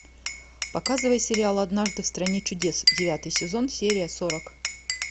показывай сериал однажды в стране чудес девятый сезон серия сорок